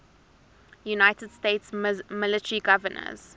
united states military governors